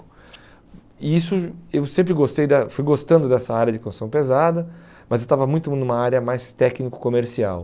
E isso, eu sempre gostei da, fui gostando dessa área de construção pesada, mas eu estava muito numa área mais técnico comercial.